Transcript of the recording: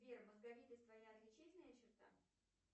сбер мозговитость твоя отличительная черта